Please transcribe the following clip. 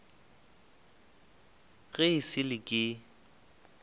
ge e sa le ke